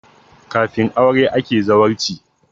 Kafin aure ake zawarci